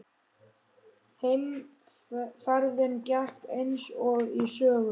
Heimferðin gekk eins og í sögu.